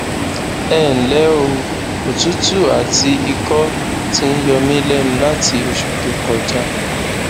ẹnlẹ o òtútù àti ikọ ti ń yọ mí lẹnu láti oṣù tó kọjá